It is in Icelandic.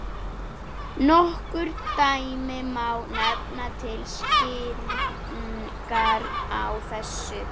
Nokkur dæmi má nefna til skýringar á þessu.